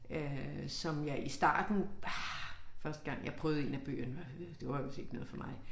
Øh som jeg i starten ah første gang jeg prøvede en af bøgerne var det var vist ikke noget for mig